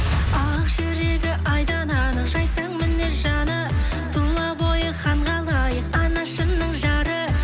ақ жүрегі айдан анық жайсаң мінез жаны тұла бойы ханға лайық анашымның жары